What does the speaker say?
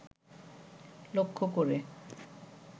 লক্ষ্য করে